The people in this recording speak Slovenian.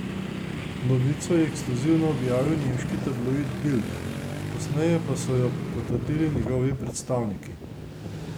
Novico je ekskluzivno objavil nemški tabloid Bild, kasneje pa so jo potrdili njegovi predstavniki.